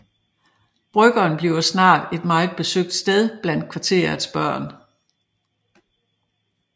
Byggeren bliver snart et meget besøgt sted blandt kvarterets børn